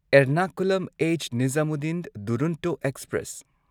ꯑꯦꯔꯅꯀꯨꯂꯝ ꯑꯩꯆ. ꯅꯤꯓꯥꯃꯨꯗꯗꯤꯟ ꯗꯨꯔꯣꯟꯇꯣ ꯑꯦꯛꯁꯄ꯭ꯔꯦꯁ